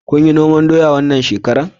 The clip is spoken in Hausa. Kunyi noman doya wannan shekara?